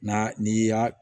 N'a n'i y'a